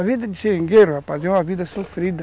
A vida de seringueiro, rapaz, é uma vida sofrida.